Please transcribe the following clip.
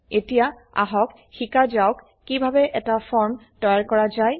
এতিয়া আহক শিকা যাওক কিভাবে এটা ফৰ্ম তৈয়াৰ কৰা যায়